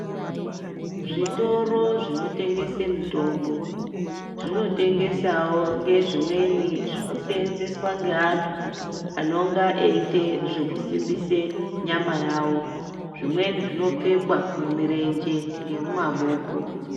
Zvitoro zvinotengesa mitombo, zvinotengesawo ngezvimweni zvinoseenzeswa ngeantu anonga eite zvekusimbise nyama yawo, zvimweni zvinopfekwa mumirenje ngemumaboko.